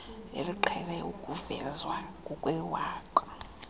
eliqhele ukuvezwa ngokwewaka